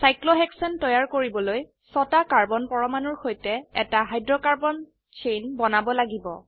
cyclohexane তৈয়াৰ কৰিবলৈ ছটা কাৰ্বন পৰমাণুৰ সৈতে এটা হাইড্ৰোকাৰ্বন চেইন বনাব লাগিব